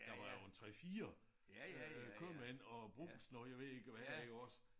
Der var jo en 3 4 øh købmænd og Brugsen og jeg ved ikke hvad også